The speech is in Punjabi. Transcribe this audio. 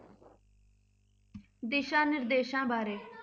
ਦਿਸ਼ਾ ਨਿਰਦੇਸ਼ਾਂ ਬਾਰੇ